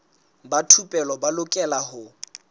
ba thupelo ba lokela ho